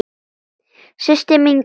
Systir mín góð.